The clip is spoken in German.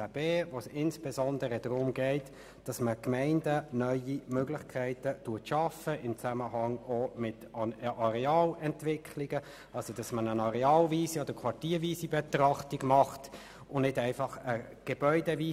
Dort geht es insbesondere darum, für die Gemeinden bei den Arealentwicklungen neue Möglichkeiten zu schaffen, indem eine areal- oder quartierweise Betrachtung vorgenommen werden kann und man nicht einfach von den einzelnen Gebäuden